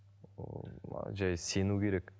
ыыы жай сену керек